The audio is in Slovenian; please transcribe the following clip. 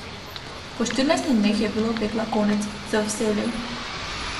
Po štirinajstih dneh je bilo pekla konec, za vselej.